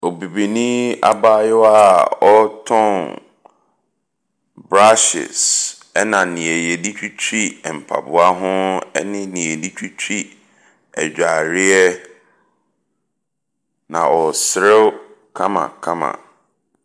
Obibini abaayewa a ɔretɔn brushes ɛna deɛ yɛde twitwi mpaboa ho ne deɛ yɛde twitwi adwareɛ. Na ɔreserew kamakama.